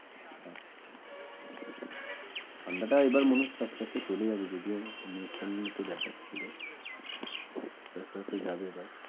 ঠান্ডাটা ও এবার মনে হচ্ছে আস্তে আস্তে চলে যাবে যদিও News channel এ দেখাচ্ছিল আস্তে আস্তে যাবে এবার